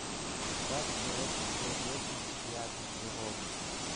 как человеческая деятельность влияет на природу